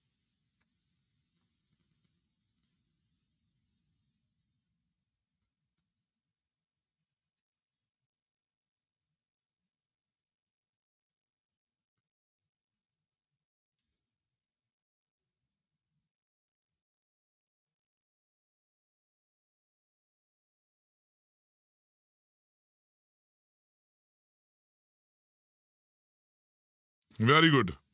Very good